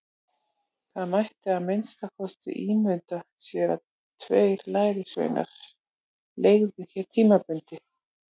Það mætti að minnsta kosti ímynda sér að tveir lærisveinar leigðu hér tímabundið.